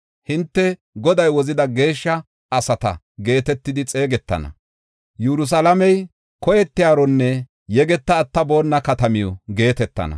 Hinte, ‘Goday Wozida Geeshsha asata’ geetetidi xeegetana. Yerusalaamey, ‘Koyetiyaronne Yegeta Attaboona Katamiw’ ” geetetana.